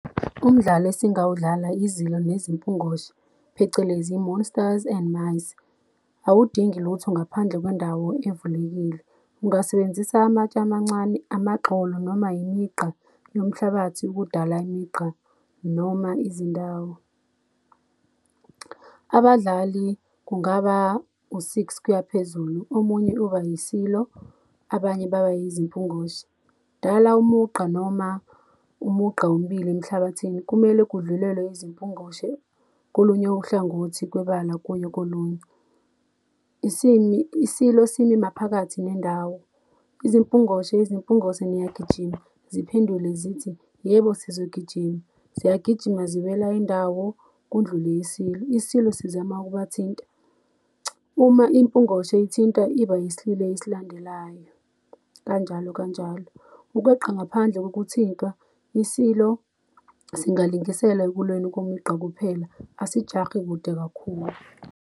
Umdlalo esingawudlala, izilo nezimpungoshe, phecelezi monsters and mice. Awudingi lutho ngaphandle kwendawo evulekile. Ungasebenzisa amatshe amancane, amagxolo, noma imigqa yomhlabathi, ukudala imigqa noma izindawo. Abadlali kungaba u-six noma kuyaphezulu. Omunye uba yisilo, abanye baba yizimpungoshe. Dala umugqa noma umugqa ombili emhlabathini, kumele kudlulele izimpungoshe kolunye uhlangothi kwebala kuye kolunye. Isimi, isilo, simi maphakathi nendawo. Izimpungoshe, zimpungose niyagijima, ziphendule zithi, yebo sizogijima, ziyagijima ziwela indawo, kundlule isilo, isilo sizama ukubathinta. Uma impungoshe ithinta iba yisililo esilandelayo, kanjalo kanjalo. Ukweqa ngaphandle ngokuthintwa, isilo singalingisela ekulweni kwemigqa kuphela, asikujahi kakhulu.